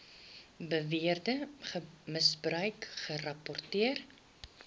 beweerde misbruik gerapporteer